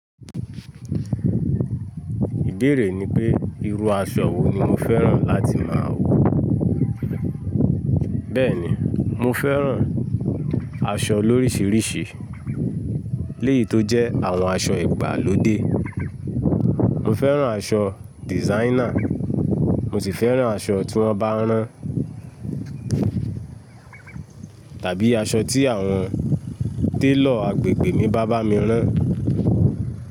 Ìbeerè ni pé, irú aṣọ wo ni mo fẹ́ràn láti máa wọ̀. Bẹ́ẹ̀ ni, mo fẹ́ràn aṣọ lórísírísì, léyì tó jẹ́ àwọn aṣọ ìgbàlódé. Mo fẹ́ràn aṣọ designer, mo sì fẹ́ràn aṣọ tí wọ́n bá rán, tàbí aṣọ tí àwọn télọ̀ agbègbè mi bá bá mi rán.